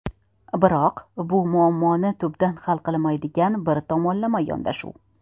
Biroq, bu muammoni tubdan hal qilmaydigan bir tomonlama yondashuv.